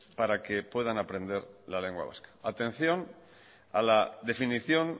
para que puedan aprender a la lengua vasca atención a la definición